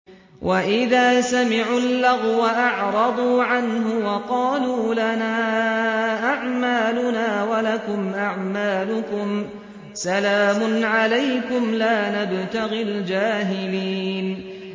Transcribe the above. وَإِذَا سَمِعُوا اللَّغْوَ أَعْرَضُوا عَنْهُ وَقَالُوا لَنَا أَعْمَالُنَا وَلَكُمْ أَعْمَالُكُمْ سَلَامٌ عَلَيْكُمْ لَا نَبْتَغِي الْجَاهِلِينَ